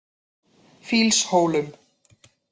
Fýlshólum